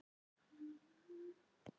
Um það yrði aldrei friður!